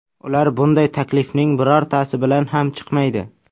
Ular bunday taklifning birortasi bilan ham chiqmaydi.